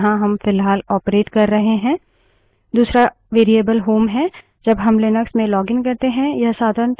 यह/bin/bash /bin/bash shell है जहाँ हम फ़िलहाल ऑपरेट कर रहे हैं